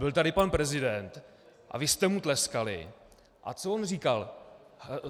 Byl tady pan prezident a vy jste mu tleskali, a co on říkal?